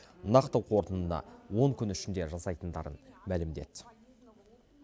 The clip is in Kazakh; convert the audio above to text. нақты қорытындыны он күн ішінде жасайтындарын мәлімдеді